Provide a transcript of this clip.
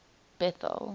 bethal